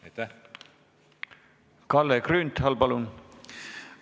Kalle Grünthal, palun!